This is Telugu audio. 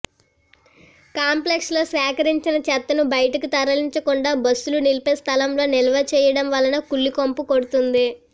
కాంప్లెక్స్లో సేకరించిన చెత్తను బయటకు తరలించకుండా బస్సులు నిలిపే స్థలంలో నిల్వ చేయ డం వలన కుళ్లి కంపు కొడుతోంది